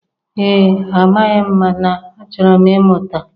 Ee, amaghị m mana achọrọ m ịmụta